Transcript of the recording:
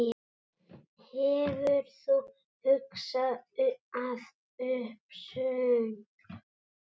Hefur þú hugað að uppsögn?